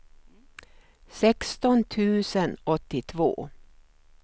sexton tusen åttiotvå